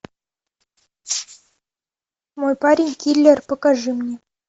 мой парень киллер покажи мне